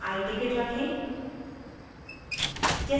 या iticket रखें